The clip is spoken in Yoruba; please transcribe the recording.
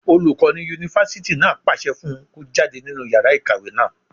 Olùkọ́ yunifásítì náà pàṣẹ fún un kó jáde nínú yàrá ìkàwé náà